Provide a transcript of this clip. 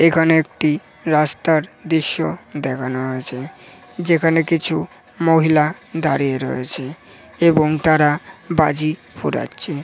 এখানে একটি রাস্তার দৃশ্য দেখানো হয়েছে। যেখানে কিছু মহিলা দাঁড়িয়ে রয়েছে এবং তারা বাজি ফোড়াচ্ছে ।